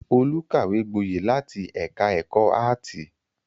Olú kàwé gboyè láti ẹ̀ka-ẹ̀kọ́ áátì.